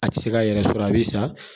A tɛ se k'a yɛrɛ sɔrɔ a bɛ sa